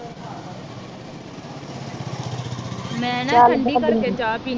ਮੈ ਨਾ ਠੰਡੀ ਕਰ ਕੇ ਚਾਹ ਪੀਣੀ